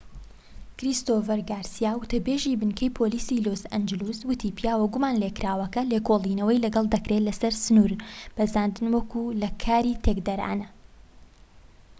کریستۆفەر گارسیا وتە بێزی بنکەی پۆلیسی لۆس ئانجلس وتی پیاوە گومان لێکراوەکە لێکۆڵینەوەی لەگەڵ دەکرێت لەسەر سنور بەزاندن وەك لە کاری تێکدەرانە